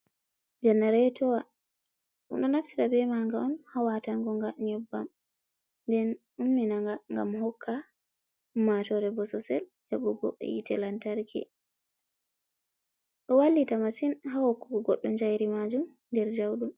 Janareetowa, ɓe ɗo naftira bee maaga on ha waatan gonga nyebbam nden umminaga gam hokka ummaatoore bososel heɓugo yi'ete lantarki, ɗo wallita masin ha hokkugo goɗɗo jayri maajum nder jauɗum.